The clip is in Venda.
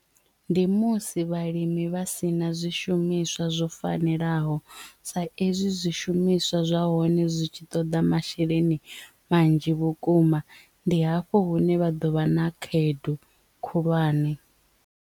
Ndi musi vhalimi vha si na zwishumiswa zwo fanelaho sa ezwi zwishumiswa zwa hone zwi tshi toḓa masheleni manzhi vhukuma ndi hafho hune vha ḓo vha na khaedu khulwane.